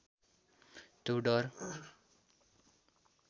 त्यो डर